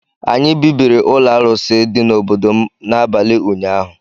Anyị bibiri ụlọ arụsị dị n’obodo m n’abalị ụnyaahụ